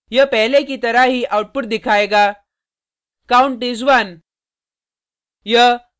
यह पहले की तरह ही आउटपुट दिखायेगा count is 1